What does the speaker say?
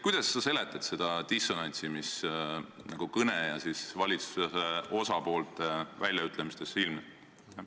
Kuidas sa seletad seda dissonantsi, mis sinu kõne ja valitsuse osapoolte väljaütlemiste vahel ilmneb?